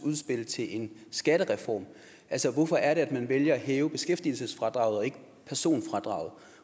udspil til en skattereform altså hvorfor er det at man vælger at hæve beskæftigelsesfradraget og ikke personfradraget